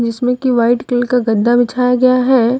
इसमें की white colour का गद्दा बिछाया गया है।